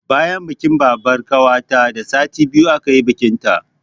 Bayan bikin babbar ƙawarta da sati biyu aka yi bikinta